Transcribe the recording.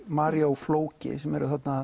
María og flóki sem